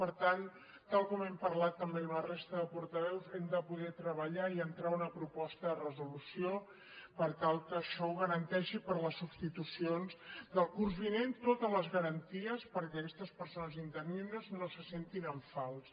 per tant tal com hem parlat tam·bé amb la resta de portaveus hem de poder treballar i entrar una proposta de resolució per tal que això ho garanteixi per les substitucions del curs vinent totes les garanties perquè aquestes persones interines no se sentin en fals